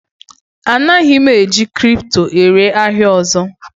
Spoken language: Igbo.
Anaghị m eji kripto ere ahịa ọzọ